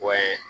Wa ye